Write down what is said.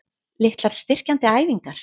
Litlar styrkjandi æfingar?